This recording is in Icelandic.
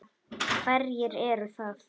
Hverjir eru það?